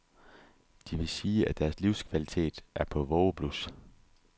De vil sige, at deres livskvalitet er på vågeblus.